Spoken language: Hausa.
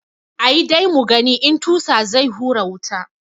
Ayi dai mugani in tusa zai hura wuta.